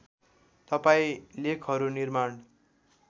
तपाईँ लेखहरू निर्माण